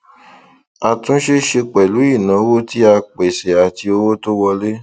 àtúnṣe ṣe pẹlú ìnáwó tí a pèsè àti owó tó wọlé